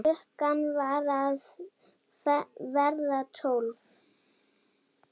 Klukkan var að verða tólf.